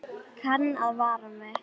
Kann að vara mig.